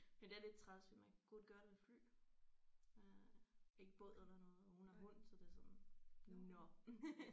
Men det er lidt træls for man kan kun gøre det med fly øh ikke båd eller noget og hun har hund så det er sådan nåh